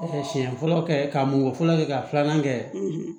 siɲɛ fɔlɔ kɛ ka mun fɔlɔ kɛ ka filanan kɛ